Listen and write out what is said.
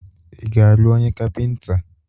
Ị ga-alụ onye Kapịnta?